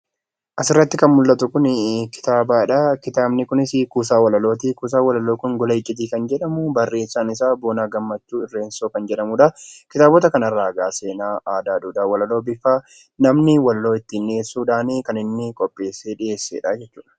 Asirratti kan mul'atu kuni kitaaba dha. Kitaabni kunisi kuusaa walaloo ti. Kuusaan walaloo kun 'Gola Iccitii' kan jedhamu barreessaan isaa Boonaa Gammachuu Irreensoo kan jedhamudha. Kitaabota kanarraa egaa seenaa, aadaa, duudhaa ,walaloo bifa namni ittiin dhiyeessuudhaan kan inni qopheessee dhiyeessee dha jechuu dha.